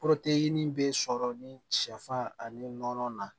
bɛ sɔrɔ ni sɛfan ani nɔnɔ na